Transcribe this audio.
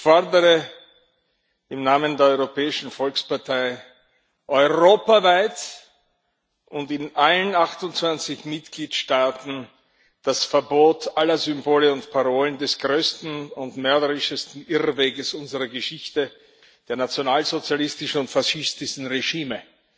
Ich fordere im Namen der Europäischen Volkspartei europaweit und in allen 28 Mitgliedstaaten das Verbot aller Symbole und Parolen des größten und mörderischsten Irrweges unserer Geschichte, der nationalsozialistischen und faschistischen Regime.